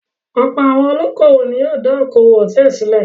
Ọ̀pọ̀ àwọn olókòwò ni yóò dá okòwò hòtẹ́ẹ́lì sílẹ̀.